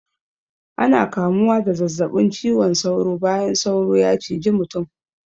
Ana kamuwa da zazzabin ciwon sauro bayan sauro ya ciji mutum.